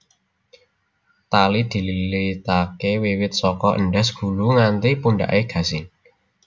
Tali dililitaké wiwit saka endhas gulu nganti pundhaké gasing